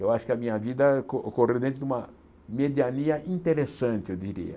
Eu acho que a minha vida co ocorreu dentro de uma mediania interessante, eu diria.